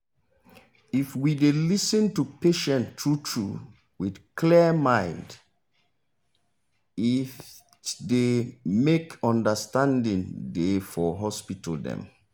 if we dey lis ten to patient true true with clear mind it dey make understanding dey for hospital dem